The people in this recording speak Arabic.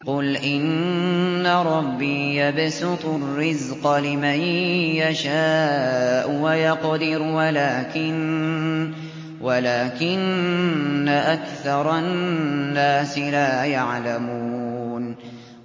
قُلْ إِنَّ رَبِّي يَبْسُطُ الرِّزْقَ لِمَن يَشَاءُ وَيَقْدِرُ وَلَٰكِنَّ أَكْثَرَ النَّاسِ لَا يَعْلَمُونَ